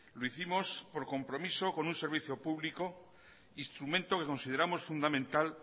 lo hicimos por compromiso con un servicio público instrumento que consideramos fundamental